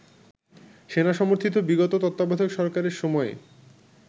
সেনাসমর্থিত বিগত তত্ত্বাবধায়ক সরকারের সময়ে